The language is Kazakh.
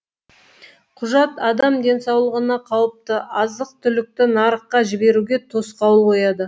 құжат адам денсаулығына қауіпті азық түлікті нарыққа жіберуге тосқауыл қояды